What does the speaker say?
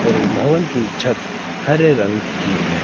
भवन की छत हरे रंग की है।